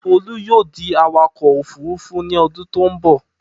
Folú yóò di awakọ̀ òfurufú ní ọdún tó ń bọ̀.